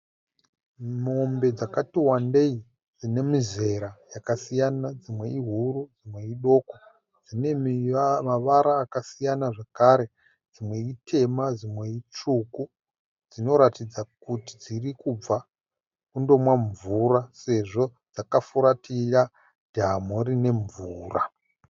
Mombe dzakati wandei, dzinemizera yakasiyana, dzimwe ihuru dzimwe idoko. Dzinemavara yakasiyana zvekare, dzimwe itema dzimwe dzitsvuku. Dzinoratidza kuti dzirikubva kundomwa mvura sezvo dzakafuratira dhamu rinemvura.